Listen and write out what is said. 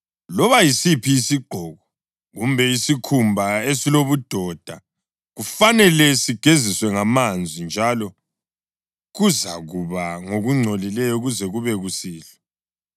Loba yisiphi isigqoko kumbe isikhumba esilobudoda, kufanele sigeziswe ngamanzi, njalo kuzakuba ngokungcolileyo kuze kube kusihlwa.